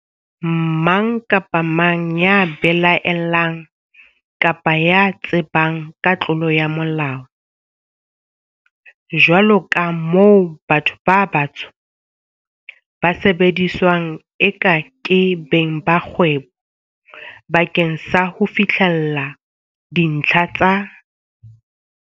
Mang kapa mang ya belae llang kapa ya tsebang ka tlolo ya Molao, jwaloka moo batho ba batsho ba sebediswang eka ke beng ba kgwebo ba keng sa ho fihlella dintlha tsa.